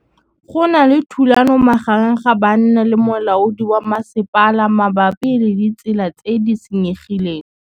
Go na le thulanô magareng ga banna le molaodi wa masepala mabapi le ditsela tse di senyegileng.